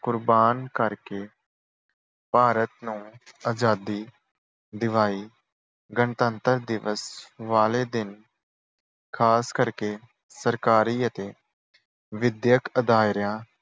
ਕੁਰਬਾਨ ਕਰਕੇ ਭਾਰਤ ਨੂੰ ਆਜ਼ਾਦੀ ਦਿਵਾਈ। ਗਣਤੰਤਰ ਦਿਵਸ ਵਾਲੇ ਦਿਨ ਖਾਸ ਕਰਕੇ ਸਰਕਾਰੀ ਅਤੇ ਵਿੱਦਿਅਕ ਅਦਾਰਿਆਂ